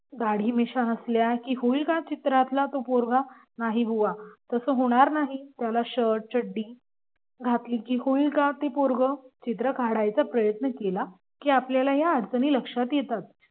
दाढी मिशा असल्या का होईल का चित्रातला तो पोरगा नाही बुवा तसं होणार नाही त्याला शर्ट चड्डी घातली का होईल का ते पोरग चित्र काढायचा प्रयत्न केला की आपल्याला ह्या अडचणी लक्षात येतात.